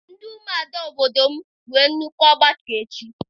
Ndị ụmụada obodo m nwere nnukwu ọgbakọ echi.